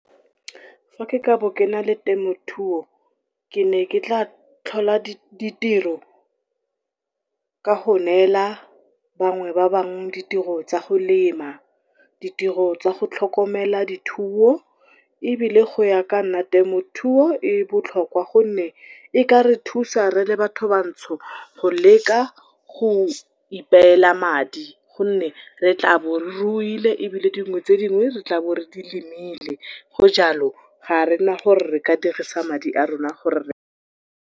Fa ke ka bo kena le temothuo ke ne ke ka tlhola ditiro ka go nela bangwe ba bangwe di tiro tsa go lema. Ditiro tsa go tlhokomela dithuo, ebile go ya ka nna temothuo e botlhokwa gonne e ka re thusa rele batho bantsho, go leka go ipela madi gonne re tlabo re ruile ebile dingwe tse dingwe re tlabo re di lemile, go jalo ga gona gore re ka dirisa madi a rona gore .